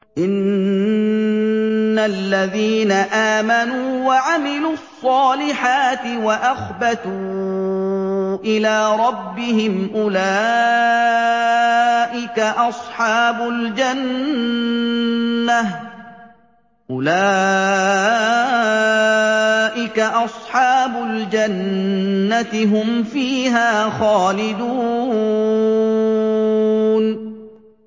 إِنَّ الَّذِينَ آمَنُوا وَعَمِلُوا الصَّالِحَاتِ وَأَخْبَتُوا إِلَىٰ رَبِّهِمْ أُولَٰئِكَ أَصْحَابُ الْجَنَّةِ ۖ هُمْ فِيهَا خَالِدُونَ